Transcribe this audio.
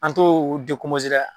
An t'o dɛ!